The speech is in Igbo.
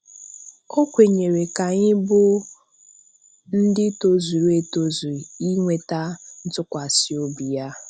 O kwenyere na anyị bụ ndị tozuru etozu inweta ntụkwasị obi Ya.